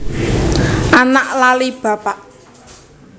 Anak lali bapak